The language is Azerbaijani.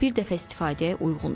Bir dəfə istifadəyə uyğundur.